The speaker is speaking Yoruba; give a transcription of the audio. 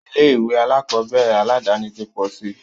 Ilé ìwé alákọ̀berẹ̀ aládàni ti pọ̀ síi.